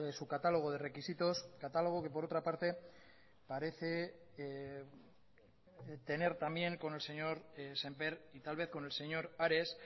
su catálogo de requisitos catálogo que por otra parte parece tener también con el señor sémper y tal vez con el señor ares